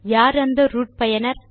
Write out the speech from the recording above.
யார் அந்த ரூட் பயனர்